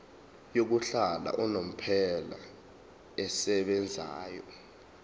yokuhlala unomphela esebenzayo